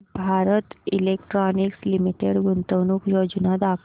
Bharat electronics limited गुंतवणूक योजना दाखव